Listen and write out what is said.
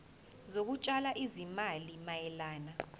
zokutshala izimali mayelana